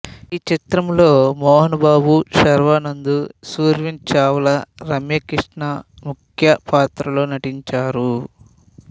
ఈ చిత్రంలో మోహన్ బాబు శర్వానంద్ సుర్వీన్ చావ్లా రమ్య కృష్ణ ముఖ్య పాత్రల్లో నటించారు